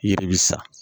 Yiri bi sa